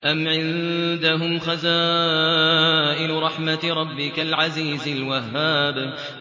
أَمْ عِندَهُمْ خَزَائِنُ رَحْمَةِ رَبِّكَ الْعَزِيزِ الْوَهَّابِ